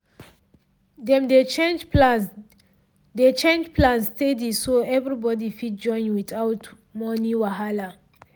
dem dey change plans dey change plans steady so everybody fit join without money wahala